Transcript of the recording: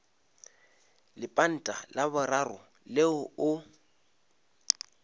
lepanta la boraro leo o